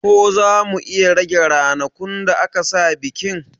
Ko zamu iya rage ranakun da aka sa bikin